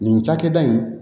Nin cakɛda in